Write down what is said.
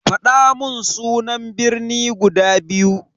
Fadamun sunan birni guda biyu.